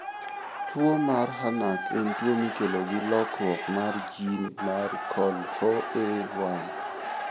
Tuwo mar HANAC en tuwo mikelo gi lokruok mar gene mar COL4A1.